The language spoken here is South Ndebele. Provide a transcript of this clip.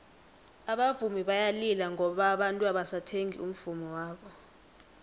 abavumi bayalila ngoba abantu abasathengi umvummo wabo